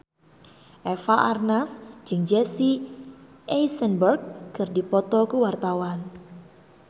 Eva Arnaz jeung Jesse Eisenberg keur dipoto ku wartawan